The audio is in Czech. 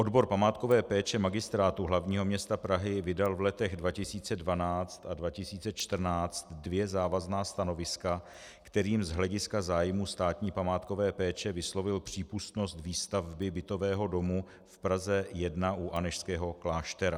Odbor památkové péče Magistrátu hlavního města Prahy vydal v letech 2012 a 2014 dvě závazná stanoviska, kterými z hlediska zájmu státní památkové péče vyslovil přípustnost výstavby bytového domu v Praze 1 u Anežského kláštera.